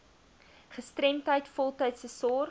gestremdheid voltydse sorg